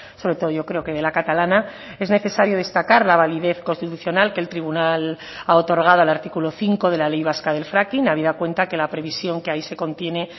sobre todo yo creo que de la catalana es necesario destacar la validez constitucional que el tribunal ha otorgado al artículo cinco de la ley vasca del fracking habida cuenta que la previsión que ahí se contiene